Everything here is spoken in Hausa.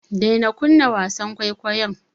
Daina kunna wasan kwaikwayon.